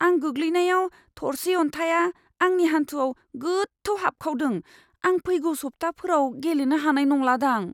आं गोग्लैनायाव थरसे अन्थाइआ आंनि हान्थुआव गोथौ हाबखावदों। आं फैगौ सब्थाफोराव गेलेनो हानाय नंलादां।